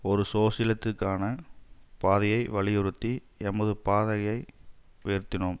ஒரு சோசியலித்துக்கான பாதையை வலியுறுத்தி எமது பாதாகையை உயர்த்தினோம்